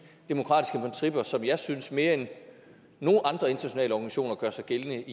demokratiske principper som jeg synes i mere end nogen andre internationale organisationer gør sig gældende